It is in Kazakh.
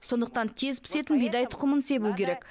сондықтан тез пісетін бидай тұқымын себу керек